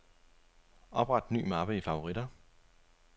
Opret ny mappe i favoritter.